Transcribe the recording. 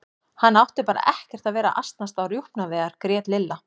Hann átti bara ekkert að vera að asnast á rjúpnaveiðar grét Lilla.